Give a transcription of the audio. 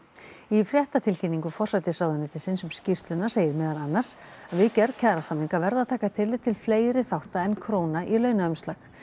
í fréttatilkynningu forsætisráðuneytisins um skýrsluna segir meðal annars að við gerð kjarasamninga verði að taka tillit til fleiri þátta en króna í launaumslag